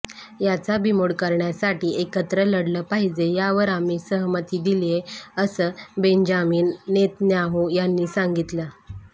याचा बिमोड करण्यासाठी एकत्र लढलं पाहिजे यावर आम्ही सहमती दिलीये असं बेंजामिन नेतन्याहू यांनी सांगितलं